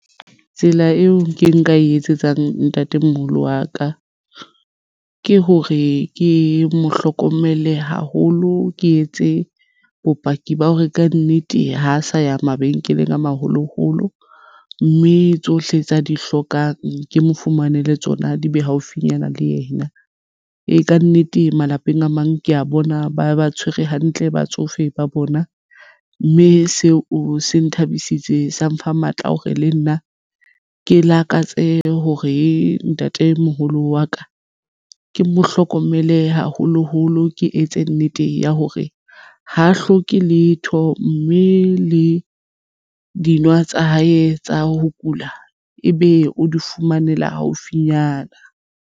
Tsela eo ke nka e etsetsang ntatemoholo wa ka ke hore ke mo hlokomele haholo ke etse bopaki ba hore kannete ha sa ya mabenkeleng a maholoholo mme tsohle tsa di hlokang ke mo fumanele tsona di be haufinyana le yena. Ee, kannete malapeng a mang ke ya bona ba ba tshwere hantle batsofe ba bona mme seo se nthabisitseng sa mpha matla hore le nna ke lakatse hore ntatemoholo wa ka ke mo hlokomele haholoholo ke etse nnete ya hore ha hloke letho mme le di nwa tsa hae tsa ho kula ebe o di fumanela haufinyana.